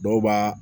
Dɔw b'a